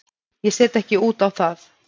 Ég set ekki út á það.